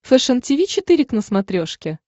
фэшен тиви четыре к на смотрешке